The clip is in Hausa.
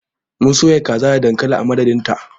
Mun soya kaza da dankali a madadinta.